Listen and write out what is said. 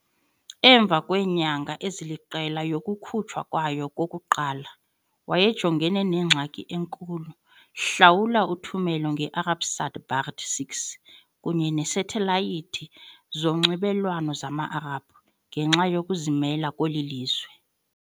Emva kweenyanga eziliqela yokukhutshwa kwayo kokuqala, wayejongene nengxaki enkulu, hlawula uthumelo nge-Arabsat Badr 6 kunye neesathelayithi zonxibelelwano zama-Arabhu. ngenxa yokuzimela kweli lizwe.